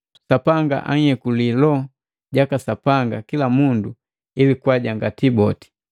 Sapanga ayeku Loho jaka Sapanga kila mundu ili kwajangati boti.